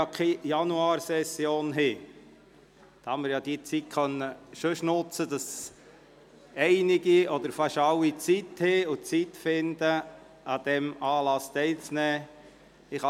Da es keine Januarsession gibt, hoffe ich, dass möglichst viele von Ihnen Zeit finden, an diesem Anlass teilzunehmen.